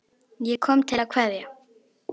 Ég kom til að kveðja.